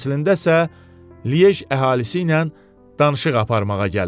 Əslində isə Lije əhalisi ilə danışıq aparmağa gəlib.